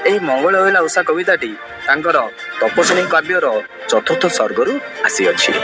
ଏଇ ମଙ୍ଗଳେ ଅଇଲେ ଉଷା କବିତାଟି ତାଙ୍କର ତପସ୍ୱିନୀ କାବ୍ୟର ଚତୁର୍ଥ ସର୍ଗରୁ ଆସିଅଛି।